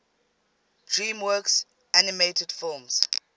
dreamworks animated films